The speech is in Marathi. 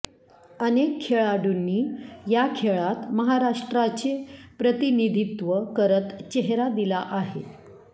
अनेक खेळाडूंनी या खेळात महाराष्ट्राचे प्रतिनिधीत्व करत चेहरा दिला आहे